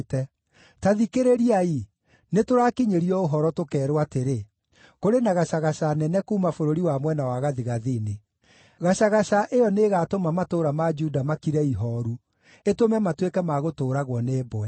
Ta thikĩrĩriai! Nĩtũrakinyĩrio ũhoro, tũkeerwo atĩrĩ, kũrĩ na gacagaca nene kuuma bũrũri wa mwena wa gathigathini! Gacagaca ĩyo nĩĩgatũma matũũra ma Juda makire ihooru, ĩtũme matuĩke ma gũtũũragwo nĩ mbwe.